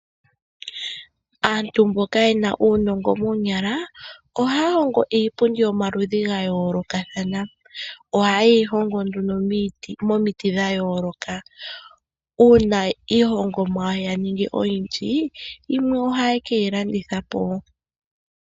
Aantu mboka ye na uunongo moonyala ohaya hongo iipundi yomaludhi ga yoolokathana. Ohaye yi hongo nduno momiti dha yooloka. Uuna iihongomwa ya ningi oyindji, yimwe ohaye ke yi landitha po.